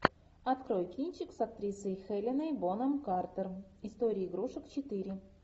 открой кинчик с актрисой хеленой бонем картер история игрушек четыре